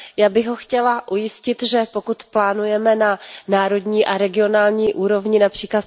Já bych ho chtěla ujistit, že pokud plánujeme na národní a regionální úrovni, např.